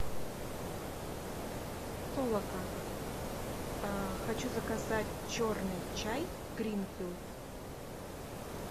толока хочу заказать черный чай гринфилд